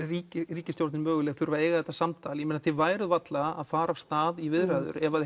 ríkisstjórnin möguleg þurfi að eiga þetta samtal en þið væruð varla að fara af stað í viðræður ef